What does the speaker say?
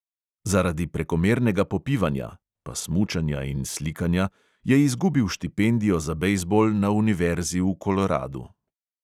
Zaradi prekomernega popivanja (pa smučanja in slikanja) je izgubil štipendijo za bejzbol na univerzi v koloradu.